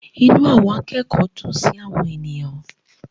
Inú àwọn akẹ́kọ̀ọ́ dùn sí àwọn ènìyàn.